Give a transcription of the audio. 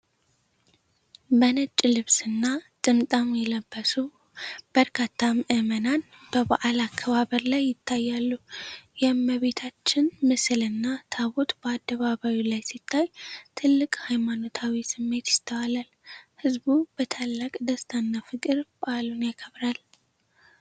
በነጭ ልብስና ጥምጣም የለበሱ በርካታ ምዕመናን በበዓል አከባበር ላይ ይታያሉ። የእመቤታችን ምስልና ታቦት በአደባባዩ ላይ ሲታይ ትልቅ ሃይማኖታዊ ስሜት ይስተዋላል። ሕዝቡ በታላቅ ደስታና ፍቅር በዓሉን ያከብራል።